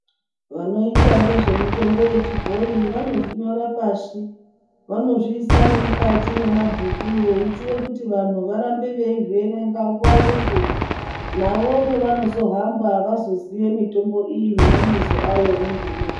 Vanoita ngezvemitombo yechibhoyi vanozvinyora pashi , vanozviisa nemukati mwemabhuku veeitire kuti vanhu varambe veizvierenga nguwa ngenguwa navo pavanozohamba vazoziye mitombo iyi nemabizo ayo nezveinosha .